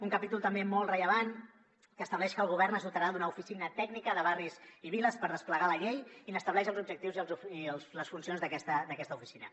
un capítol també molt rellevant que estableix que el govern es dotarà d’una oficina tècnica de barris i viles per desplegar la llei i estableix els objectius i les funcions d’aquesta oficina